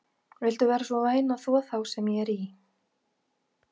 Viltu vera svo væn að þvo þá sem ég er í?